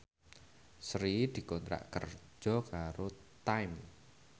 Sri dikontrak kerja karo Time